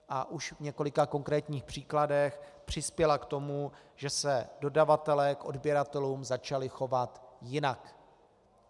A už v několika konkrétních příkladech přispěla k tomu, že se dodavatelé k odběratelům začali chovat jinak.